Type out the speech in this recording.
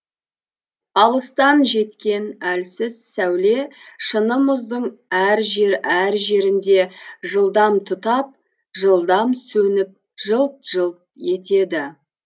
алыстан жеткен әлсіз сәуле шыны мұздың әр жер әр жерінде жылдам тұтап жылдам сөніп жылт жылт етеді